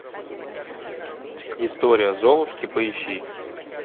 история золушки поищи